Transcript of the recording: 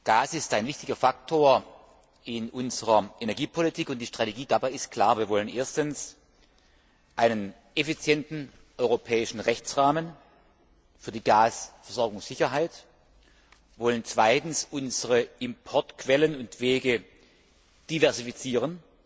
Gas ist ein wichtiger Faktor in unserer Energiepolitik und die Strategie dabei ist klar Wir wollen erstens einen effizienten europäischen Rechtsrahmen für die Gasversorgungssicherheit, wollen zweitens unsere Importquellen und wege diversifizieren,